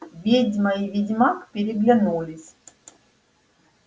ведьма и ведьмак переглянулись